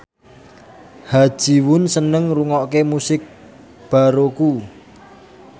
Ha Ji Won seneng ngrungokne musik baroque